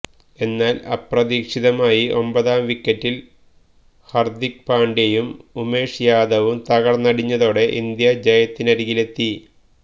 എന്നാല് അപ്രതീക്ഷിതമായി ഒമ്പതാം വിക്കറ്റില് ഹര്ദിക് പാണ്ഡ്യയും ഉമേഷ് യാദവും തകര്ത്തടിച്ചതോടെ ഇന്ത്യ ജയത്തിനരികിലെത്തി